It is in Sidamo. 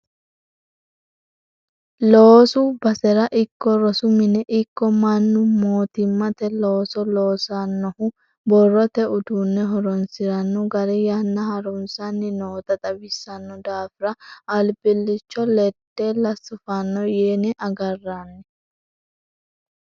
Loosu basera ikko rosu mine ikko mannu mootimmate looso loossanohu borrote uduune horonsirano gari yanna harunsanni nootta xawisano daafira albilicho ledella sufano yine agarranni.